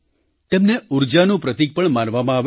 તેમને ઊર્જાનું પ્રતીક પણ માનવામાં આવે છે